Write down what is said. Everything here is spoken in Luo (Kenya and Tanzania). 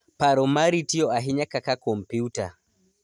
Paro mari tiyo ahinya kaka kompyuta.